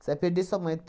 Você vai perder sua mãe.